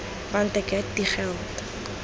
want ek het die geld